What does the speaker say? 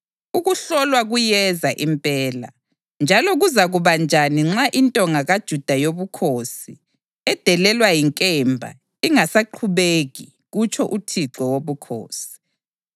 Ukuhlolwa kuyeza impela. Njalo kuzakuba njani nxa intonga kaJuda yobukhosi, edelelwa yinkemba, ingasaqhubeki? kutsho uThixo Wobukhosi.’